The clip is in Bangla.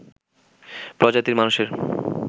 প্রজাতির মানুষের